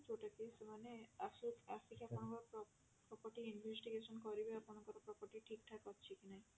ଯୋଊଟା କି ସେମାନେ ଆସୁ ଆସିକି ଆପଣଙ୍କର property investigation କରିବେ ଆପଣଙ୍କର property ଠିକ ଠାକ ଅଛି କି ନାଇଁ